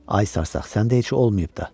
Ay sarsaq, səndə heç olmayıb da.